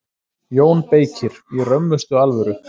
JÓN BEYKIR: Í römmustu alvöru.